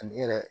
Ani i yɛrɛ